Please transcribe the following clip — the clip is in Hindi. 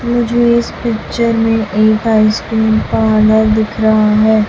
मुझे इस पिक्चर में एक आइसक्रीम कॉर्नर दिख रहा है।